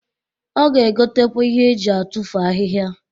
Ọ ga-egotakwa ihe eji atufu ahịhịa.